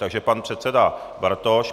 Takže pan předseda Bartoš.